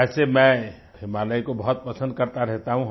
वैसे मैं हिमालय को बहुत पसंद करता रहता हूँ